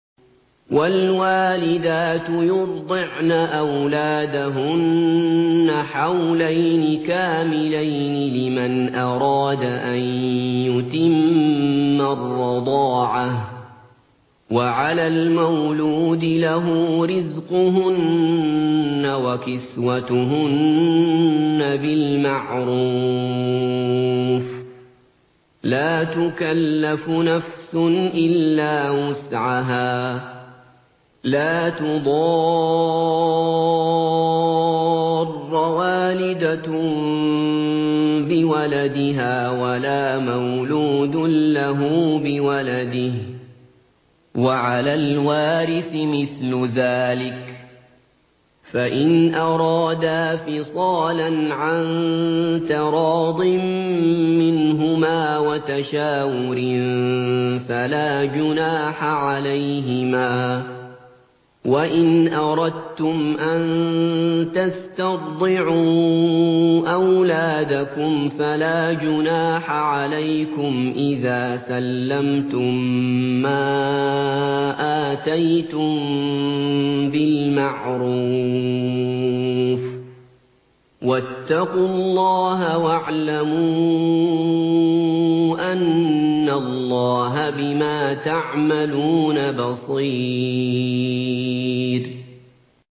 ۞ وَالْوَالِدَاتُ يُرْضِعْنَ أَوْلَادَهُنَّ حَوْلَيْنِ كَامِلَيْنِ ۖ لِمَنْ أَرَادَ أَن يُتِمَّ الرَّضَاعَةَ ۚ وَعَلَى الْمَوْلُودِ لَهُ رِزْقُهُنَّ وَكِسْوَتُهُنَّ بِالْمَعْرُوفِ ۚ لَا تُكَلَّفُ نَفْسٌ إِلَّا وُسْعَهَا ۚ لَا تُضَارَّ وَالِدَةٌ بِوَلَدِهَا وَلَا مَوْلُودٌ لَّهُ بِوَلَدِهِ ۚ وَعَلَى الْوَارِثِ مِثْلُ ذَٰلِكَ ۗ فَإِنْ أَرَادَا فِصَالًا عَن تَرَاضٍ مِّنْهُمَا وَتَشَاوُرٍ فَلَا جُنَاحَ عَلَيْهِمَا ۗ وَإِنْ أَرَدتُّمْ أَن تَسْتَرْضِعُوا أَوْلَادَكُمْ فَلَا جُنَاحَ عَلَيْكُمْ إِذَا سَلَّمْتُم مَّا آتَيْتُم بِالْمَعْرُوفِ ۗ وَاتَّقُوا اللَّهَ وَاعْلَمُوا أَنَّ اللَّهَ بِمَا تَعْمَلُونَ بَصِيرٌ